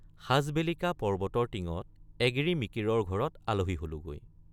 সাজবেলিকা পৰ্বতৰ টিঙত এগিৰি মিকিৰৰ ঘৰত আলহী হলোগৈ।